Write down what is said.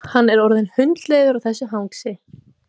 Hann var orðinn hundleiður á þessu hangsi.